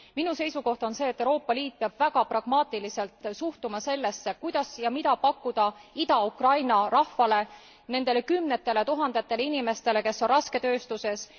Minu seisukoht on see, et Euroopa Liit peab väga pragmaatiliselt suhtuma sellesse, kuidas ja mida pakkuda Ida Ukraina rahvale, nendele kümnetele tuhandetele inimestele, kes on rasketööstuses.